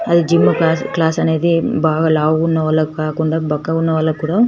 అధి gym class class అనేది బాగా లవుగున్న వాళ్ళకు కాకుండా బక్కగా ఉన వాలకి కుదా --